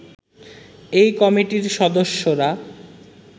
এই কমিটির সদস্যরা